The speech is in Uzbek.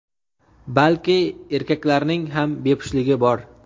balki erkaklarning ham bepushtligi bor.